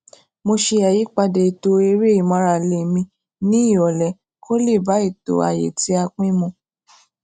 mo ṣe àyípadà ètò eré ìmárale mi ní ìròlé kó lè bá ètò ààyè tí a pín mu